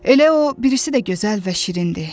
Elə o birisi də gözəl və şirindir.